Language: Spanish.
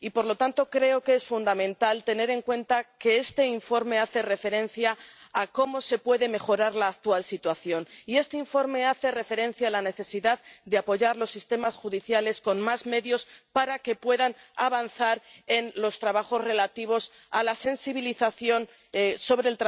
Y, por lo tanto, creo que es fundamental tener en cuenta que este informe hace referencia a cómo se puede mejorar la actual situación y este informe hace referencia a la necesidad de apoyar los sistemas judiciales con más medios para que puedan avanzar en los trabajos relativos a la sensibilización sobre